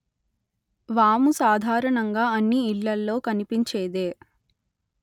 వాము సాధారణంగా అన్ని ఇళ్ళల్లో కనిపించేదే